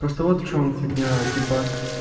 просто вот в чём фигня типа